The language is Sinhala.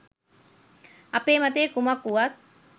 අපේ මතය කුමක් වුවත්